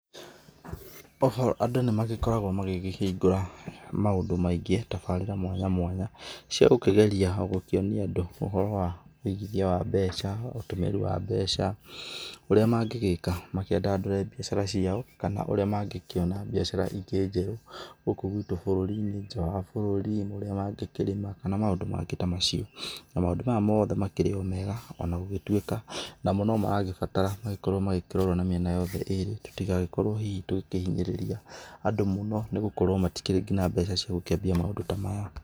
O ho andũ nĩmagĩkoragwo magĩkĩhingũra maũndũ maingĩ, tabarĩra mwanya mwanya, ciagũkĩgeria gũkĩonia andũ ũhoro wa wũigithia wa mbeca, ũtũmĩri wa mbeca, ũrĩa mangĩgĩka makĩandandũre biacara ciao, kana ũrĩa mangĩkĩona biacara ingĩ njerũ, gũkũ gwitũ bũrũri-inĩ, nja wa bũrũri, ũria wa angĩ kĩrĩma, kana maũndũ mangĩ ta macio. Na maũndũ maya makĩrĩ o mega ona gũgĩtuĩka, onama nomaragĩbatara, gũkorwo magĩkĩrorwo na mĩena yothe ĩrĩ, tũtigagĩkorwo hihi tũgĩkĩhinyĩrĩria andũ mũno nĩgũkorwo matikĩrĩ nginya mbeca cia gũkĩambia maũndũ ta maya.